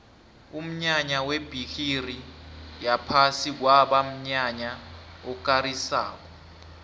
umnyanya webhigiri yephasi kwaba mnyanya okarisako